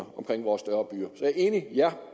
omkring vores større byer så jeg er enig ja